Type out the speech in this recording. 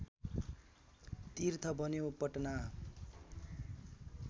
तीर्थ बन्यो पटना